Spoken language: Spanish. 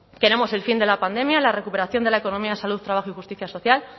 queremos el fin de la pandemia la recuperación de la economía salud trabajo y justicia social